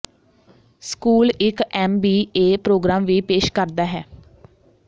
school ਇੱਕ M B A programme ਵੀ ਪੇਸ਼ ਕਰਦਾ ਹੈ